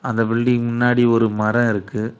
அந்த பில்டிங் முன்னாடி ஒரு மரோ இருக்கு.